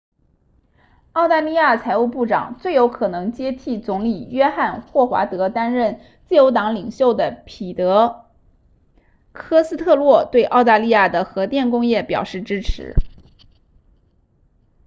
澳大利亚财务部长最有可能接替总理约翰霍华德担任自由党领袖的彼得科斯特洛对澳大利亚的核电工业表示支持